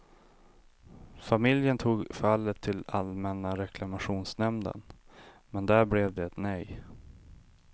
Familjen tog fallet till allmänna reklamationsnämnden, men där blev det nej.